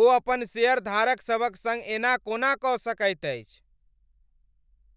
ओ अपन शेयरधारक सभक सङ्ग एना कोना कऽ सकैत अछि?